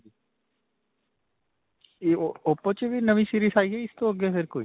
ਓਓ oppo 'ਚ ਵੀ ਨਵੀਂ series ਆਈ ਹੈ, ਇਸ ਤੋਂ ਅੱਗੇ ਕੋਈ?